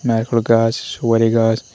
নাইরকল গাছ সুপারি গাছ--